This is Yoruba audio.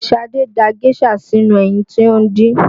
Șadé da géșà sínú ẹyin tí ó dín